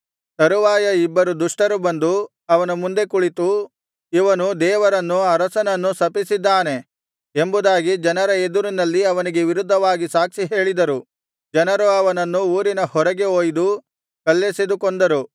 ತರುವಾಯ ಇಬ್ಬರು ದುಷ್ಟರು ಬಂದು ಅವನ ಮುಂದೆ ಕುಳಿತು ಇವನು ದೇವರನ್ನೂ ಅರಸನನ್ನೂ ಶಪಿಸಿದ್ದಾನೆ ಎಂಬುದಾಗಿ ಜನರ ಎದುರಿನಲ್ಲಿ ಅವನಿಗೆ ವಿರುದ್ಧವಾಗಿ ಸಾಕ್ಷಿ ಹೇಳಿದರು ಜನರು ಅವನನ್ನು ಊರಿನ ಹೊರಗೆ ಒಯ್ದು ಕಲ್ಲೆಸೆದು ಕೊಂದರು